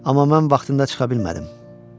Amma mən vaxtında çıxa bilmədim.